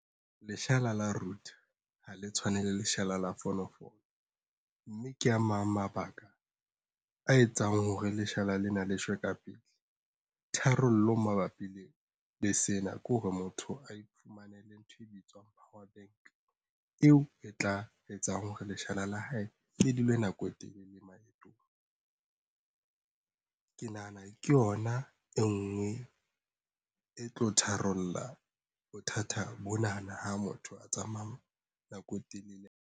Leshala la router ha le tshwane le leshala la fonofono mme ke a mang mabaka a etsang hore leshala lena le shwe ka pele. Tharollo mabapi le sena ke hore motho a iphumanele ntho e bitswang power bank eo e tla a etsang hore leshala la hae le dule nako e telele maetong. Ke nahana ke yona e ngwe e tlo tharolla bothata bonana ha motho a tsamaya nako e telele.